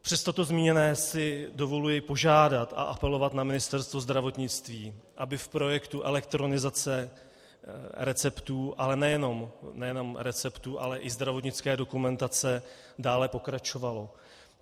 Přes toto zmíněné si dovoluji požádat a apelovat na Ministerstvo zdravotnictví, aby v projektu elektronizace receptů, a nejenom receptů, ale i zdravotnické dokumentace dále pokračovalo.